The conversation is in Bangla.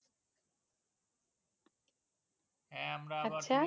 হ্যাঁ আমরা আবার